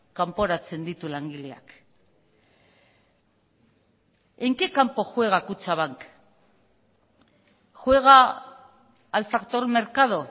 kanporatzen ditu langileak en qué campo juega kutxabank juega al factor mercado